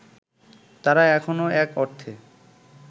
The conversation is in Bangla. তারা এখনো এক অর্থে